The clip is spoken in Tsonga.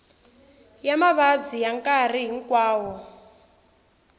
ya mavabyi ya nkarhi hinkwawo